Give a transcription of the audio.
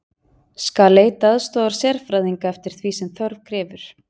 Skal leita aðstoðar sérfræðinga eftir því sem þörf krefur.